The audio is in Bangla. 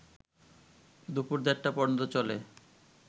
দুপুর দেড়টা পর্যন্ত চলে